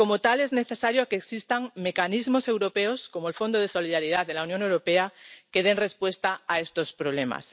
Es necesario que existan mecanismos europeos, como el Fondo de Solidaridad de la Unión Europea, que den respuesta a estos problemas.